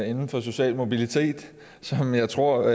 inden for social mobilitet som jeg tror